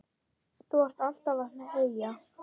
Þú ert alltaf að heyja,